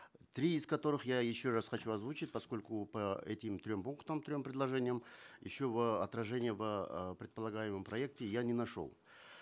три из которых я еще раз хочу озвучить поскольку по этим трем пунктам трем предложениям еще в отражении в э предполагаемом проекте я не нашел